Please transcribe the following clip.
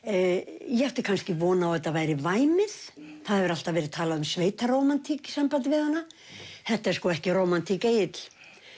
ég átti kannski von á að þetta væri væmið það hefur alltaf verið talað um sveitarómantík í sambandi við hana þetta er sko ekki rómantík Egill